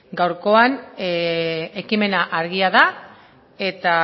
gaurkoan ekimena argia da eta